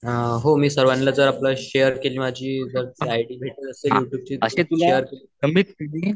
अअ मी सर्वांला जर आपलं शेयर केली माझी